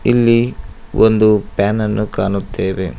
ಇಲ್ಲಿ ಒಂದು ಫ್ಯಾನ್ ಅನ್ನು ಕಾಣುತ್ತೆವೆ.